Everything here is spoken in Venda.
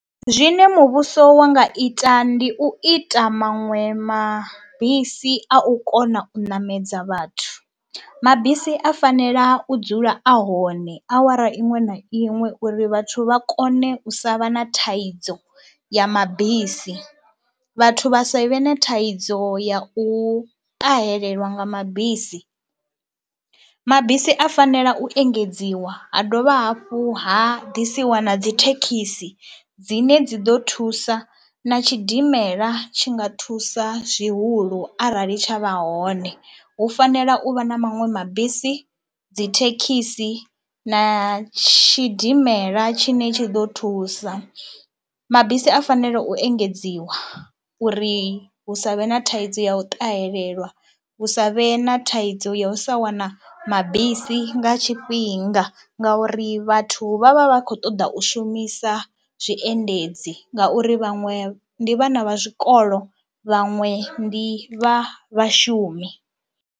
Zwine muvhuso wa nga ita ndi u ita maṅwe mabisi a u kona u ṋamedza vhathu, mabisi a fanela u dzula a hone awara iṅwe na iṅwe uri vhathu vha kone u sa vha na thaidzo ya mabisi. Vhathu vha sa vhe na thaidzo ya u ṱahelelwa nga mabisi, mabisi a fanela u engedziwa ha dovha hafhu ha ḓisiwa na dzi thekhisi dzine dzi ḓo thusa na tshidimela tshi nga thusa zwihulu arali tsha vha hone. Hu fanela u vha na maṅwe mabisi, dzi thekhisi na tshidimela tshine tshi ḓo thusa. Mabisi a fanela u engedziwa uri hu sa vhe na thaidzo ya u ṱahelelwa, hu sa vhe na thaidzo ya u sa wana mabisi nga tshifhinga ngauri vhathu vha vha vha khou ṱoḓa u shumisa zwiendedzi ngauri vhaṅwe ndi vhana vha zwikolo vhaṅwe ndi vha vhashumi.